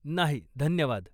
नाही, धन्यवाद.